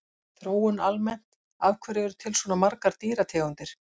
Þróun almennt Af hverju eru til svona margar dýrategundir?